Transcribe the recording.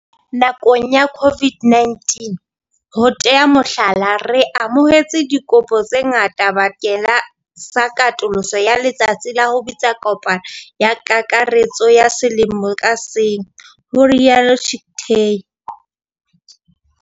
"Nakong ya COVID-19, ho tea mohlala, re amohetse dikopo tse ngata bakeng sa katoloso ya letsatsi la ho bitsa kopano ya kakaretso ya selemo ka seng," ho ile ha rialo Chicktay.